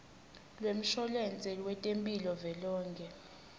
lwemshwalense wetemphilo velonkhe